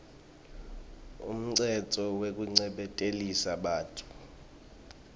umtsetfo wekuncephetelisa bantfu